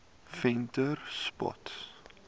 venterspost